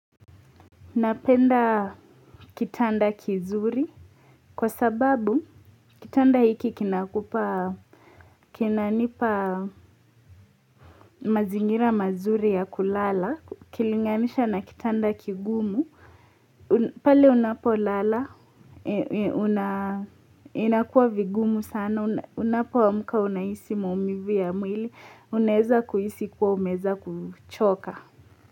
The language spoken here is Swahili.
Napenda kitanda kizuri, kwa sababu kitanda hiki kinanipa mazingira mazuri ya kulala, kilinganisha na kitanda kigumu, pale unapo lala, inakuwa vigumu sana, unapoamuka unaisi maumivu ya mwili, unaeza kuhisi kuwa umeeza kuchoka.